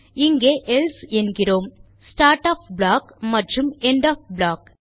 இங்கே எல்சே என்கிறோம் start of block மற்றும் எண்ட் ஒஃப் ப்ளாக்